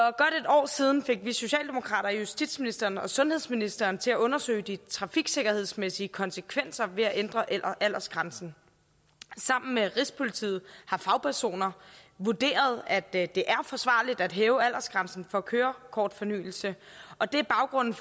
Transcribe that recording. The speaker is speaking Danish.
år siden fik vi socialdemokrater justitsministeren og sundhedsministeren til at undersøge de trafiksikkerhedsmæssige konsekvenser af at ændre aldersgrænsen sammen med rigspolitiet har fagpersoner vurderet at det er forsvarligt at hæve aldersgrænsen for kørekortfornyelse og det er baggrunden